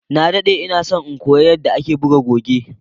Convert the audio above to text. na daɗe inason in koya yadda ake buga goge